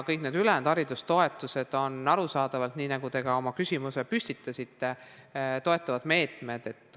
Kõik need ülejäänud haridustoetused on arusaadavalt, nagu te ka oma küsimuse püstitasite, toetavad meetmed.